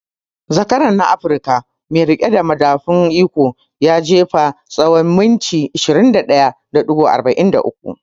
Zakaran na Afruka mai riƙe da madafun iko ya jefa tsawon mita 21.43